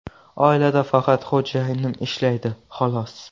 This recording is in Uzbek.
Oilada faqat xo‘jayinim ishlaydi xolos.